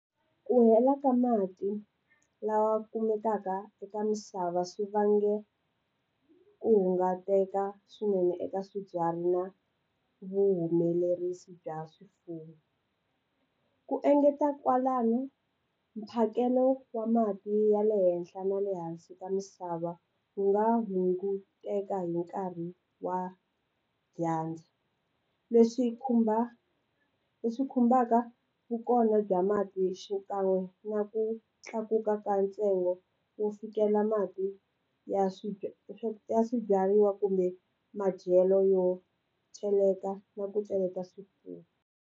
Ku hela ka mati lawa kumekaka eka misava swi vange ku hunguteka swinene eka swibyariwa na vuhumelerisi bya swifuwo ku engeta kwalano mphakelo wa mati ya le henhla na le hansi ka misava wu nga hunguteka hi nkarhi wa dyandza leswi khumba leswi khumbaka vukona bya mati xikan'we na ku tlakuka ka ntsengo wo fikela mati ya ya swibyariwa kumbe madyelo yo cheleta na ku swifuwo.